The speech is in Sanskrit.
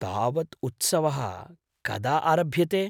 तावत् उत्सवः कदा आरभ्यते ?